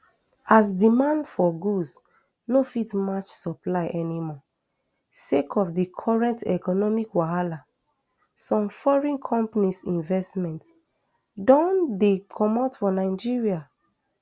as demand for goods no fit match supply anymore sake of di current economic wahala some foreign companies investment don dey comot for nigeria